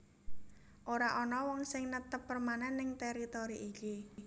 Ora ana wong sing netep permanen ning teritori iki